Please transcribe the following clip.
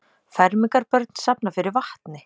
Fermingarbörn safna fyrir vatni